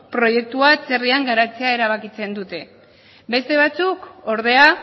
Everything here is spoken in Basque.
proiektua atzerrian garatzea erabakitzen dute beste batzuk ordea